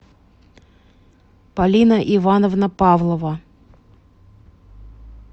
полина ивановна павлова